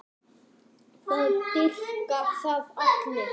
Það dýrka það allir.